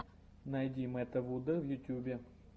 найди мэтта вуда в ютьюбе